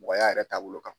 Mɔgɔya yɛrɛ taabolo kan